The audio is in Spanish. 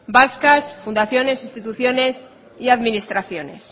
vascas fundaciones instituciones y administraciones